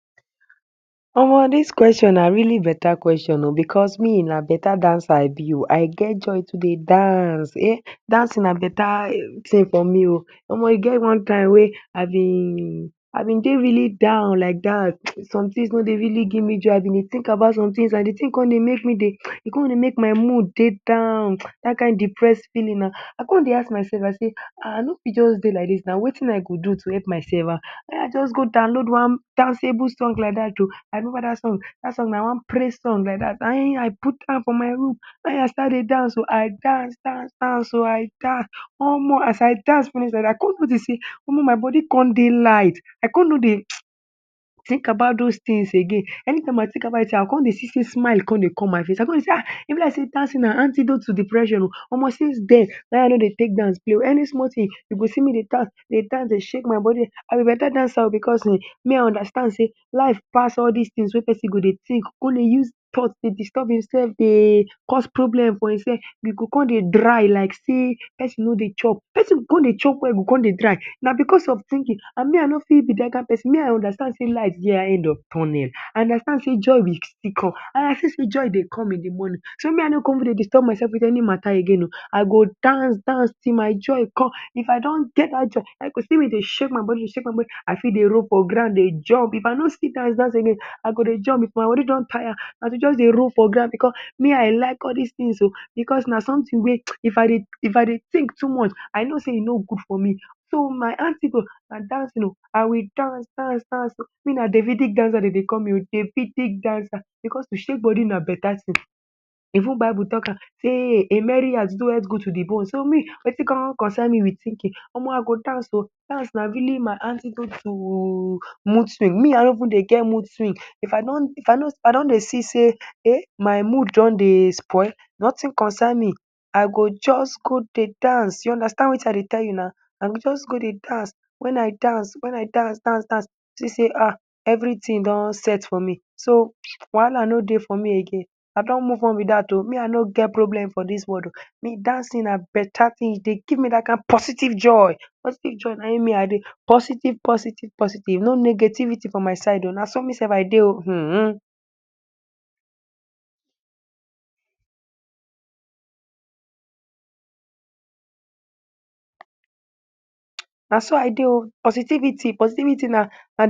Omo this question na really better question ooh because me na better dancer me I be ooh I get joy to dey dance eeh dancing na better thing for me ooh omo e get one wey I been, I been dey really down like that some things no dey really give me joy I been dey think about some things and the thing come dey make me dey, e come dey make my mood dey down that kind depressed feeling na I come dey ask myself I say ahh I no fit just dey like this na wetin I go do do help myself na in I just go download one danceable song ooh joor, I remember that song that song na one praise song like that na in I put am for my room na in I start to dey dance ooh I dance dance dance ohh I dance omo as I dance finish like this I come notice sey omo my body come dey light I come no dey think about those things again anytime I thing about the thing again I o come dey see sey smile go come dey come my face I come dey sey ahh e be like sey dancing na antidote to depression ooh omo since den na in I no dey take dance play ooh any small thing you go see me dey dance dey dance dey shake my body, I be better dancer ooh because eeh me I understand sey life pass all this things wey person go dey think come dey use thought come dey disturb himself dey cause problem for himself you go come dey dry like sey person no dey chop person, person come dey chop well come dey dry na because of thinking and me I no fit be that kind person me I understand sey light dey end of tunnel, I understand sey joy will still come and I see sey joy dey come in the morning so me I no come go dey disturb myself with any matter again ooh I go dance dance till my joy come if I don get that joy I go still dey shake my body dey shake my body I fit dey roll for ground dey jump if I no see dance dance again I go dey jump if my body don tire na to just dey roll for ground because me I like all this things ooh because na something wey if I dey think too much I know sey e no good for me so my antidote na dancing ohh I will dance dance dance ooh me na Davidic dancer dem dey call me ooh Davidic because to shake body na better thing even bible talk am sey a merry heart doeth good to the bone so me wetin come concern me with thinking omo I go dance ooh dance na really my antidote too mood swing me I no even dey get mood swing if I don dey see sey eh my mood don dey spoil nothing concern me I go just go dey dance u understand wetin I dey tell you na I go just go dey dance wen I dance wen I dance dance dance see sey ahh everything don set for me so wahala no dey for me again I don move on be that ooh me I no get problem for this world ooh me dancing na better thing e dey give me that kind positive joy, positive joy na in me I dey positive, positive, positive no negativity for my side ooh na so me self I dey ooh hmm.